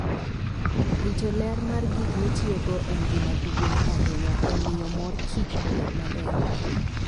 Rito ler mar gik mitiyogo en gima duong' ahinya e miyo mor kich obed maber.